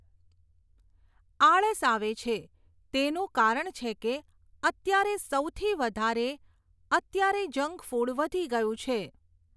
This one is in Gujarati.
આળસ આવે છે, તેનું કારણ છે કે અત્યારે સૌથી વધારે અત્યારે જંક ફૂડ વધી ગયું છે.